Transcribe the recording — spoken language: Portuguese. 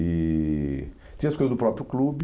E... Tinha as coisas do próprio clube.